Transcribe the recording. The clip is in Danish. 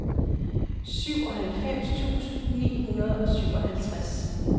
syvoghalvfems tusind ni hundrede og syvogtres